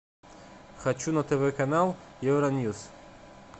хочу на тв канал евроньюс